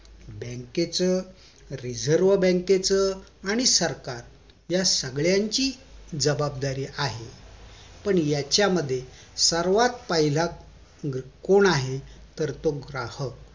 बँकेचं reserve बँकेच आणि सरकार या सगळ्यची जबाबदारी आहे पण याच्या मध्ये सर्वात पाहिलं कोण आहे तर तो ग्राहक